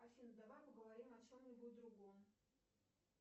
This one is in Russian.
афина давай поговорим о чем нибудь другом